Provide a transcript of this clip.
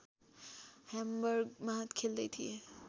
ह्याम्बर्गमा खेल्दै थिए